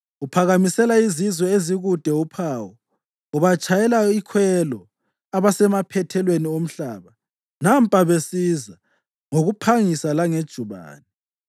Uphakamisela izizwe ezikude uphawu, ubatshayela ikhwelo abasemaphethelweni omhlaba. Nampa besiza ngokuphangisa langejubane!